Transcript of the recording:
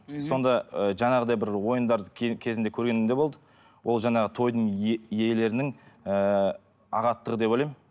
сонда ы жаңағыдай бір ойындар кезінде көргенім де болды ол жаңағы тойдың иелерінің ыыы ағаттығы деп ойлаймын